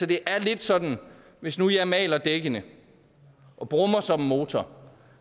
det er lidt sådan at hvis nu jeg maler dækkene og brummer som en motor